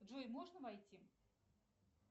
джой можно войти